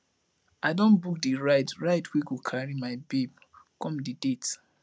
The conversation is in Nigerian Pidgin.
i don book di ride ride wey go carry my babe come di date